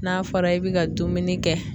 N'a fɔra i bɛ ka dumuni kɛ.